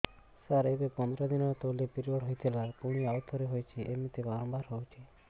ସାର ଏବେ ପନ୍ଦର ଦିନ ତଳେ ପିରିଅଡ଼ ହୋଇଥିଲା ପୁଣି ଆଉଥରେ ହୋଇଛି ଏମିତି ବାରମ୍ବାର ହଉଛି